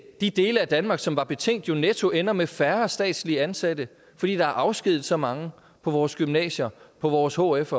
de dele af danmark som var betænkt jo netto ender med færre statslige ansatte fordi der er afskediget så mange på vores gymnasier på vores hf